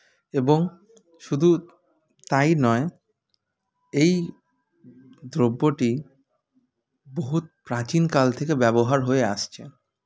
এবং শুধু তাই নয় এই দ্রব্যটি বহুত প্রাচীন কাল থেকে ব্যবহার হয়ে আসছে